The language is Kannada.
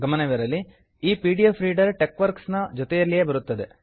ಗಮನವಿರಲಿ ಈ P D F reader Techworks ನ ಜೊತೆಯಲ್ಲೇ ಬರುತ್ತದೆ